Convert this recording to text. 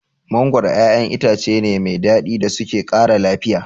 Mangoro ƴaƴan itace ne mai daɗi da suke ƙara lafiya.